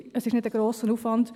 Es ist kein grosser Aufwand.